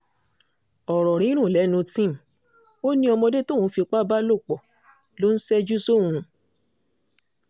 ọ̀rọ̀ rírùn lẹ́nu tim ó ní ọmọdé tóun fipá bá lò pọ̀ lọ ńṣẹ́jú sí òun